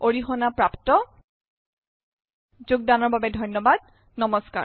wwwdesicrewinৰ দ্বাৰা অৰিহনা প্ৰাপ্ত। ঘোগদানৰ বাবে অশেষ ধন্যবাদ।